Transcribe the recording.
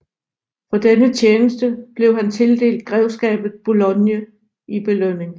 For denne tjeneste blev han tildelt Grevskabet Boulogne i belønning